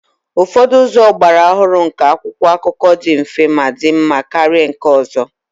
Ụfọdụ ụzọ ọgbara ọhụrụ nke akwụkwọ akụkọ dị mfe ma dị mma karịa nke ọzọ